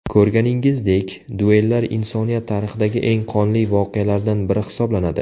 Ko‘rganingizdek, duellar insoniyat tarixidagi eng qonli voqealardan biri hisoblanadi.